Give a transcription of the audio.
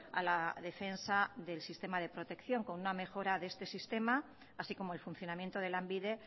a la defensa del sistema de protección con una mejora de esta sistema así como el funcionamiento de lanbide